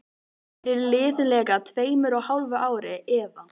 Fyrir liðlega tveimur og hálfu ári, eða